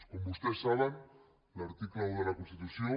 com vostès saben l’article un de la constitució